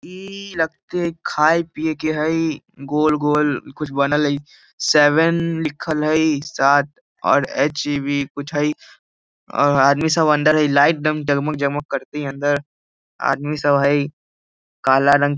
ई लगते खाय पीए के हई गोल-गोल कुछ बनल हई सेवेन लिक्खलई सात और एच वि कुछ हई और आदमी सब अंदर है लाइट एकदम जगमग-जगमग करती है अंदर आदमी सब हैं काला रंग --